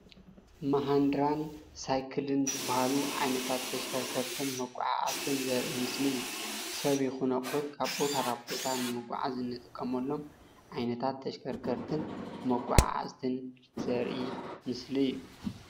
መህንድራን ሳይክልን ዝበሃሉ ዓይነታት ተሽከርከርትን መጓዓዕዝትን ዘርኢ ምስሊ እዩ። ሰብ ይኹን ኣቁሑት ካብ ቦታ ናብ ቦታ ንምጉዕዓዝ እንጥቀመሎም ዓይነታት ተሽከርከርትን መጓዓዕዝትን ዘርኢ ምስሊ እዩ።